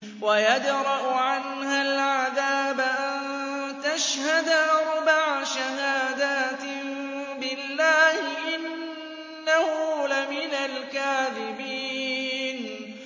وَيَدْرَأُ عَنْهَا الْعَذَابَ أَن تَشْهَدَ أَرْبَعَ شَهَادَاتٍ بِاللَّهِ ۙ إِنَّهُ لَمِنَ الْكَاذِبِينَ